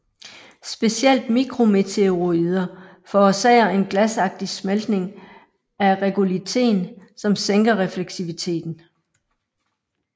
Specielt mikrometeoroider forårsager en glasagtig smeltning af regolithen som sænker refleksiviteten